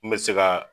N bɛ se ka